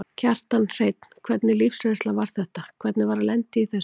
Kjartan Hreinn: Hvernig lífsreynsla var þetta, hvernig var að lenda í þessu?